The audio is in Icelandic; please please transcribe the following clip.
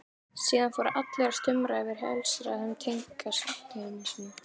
Síðan fóru allir að stumra yfir helsærðum tengdasyninum.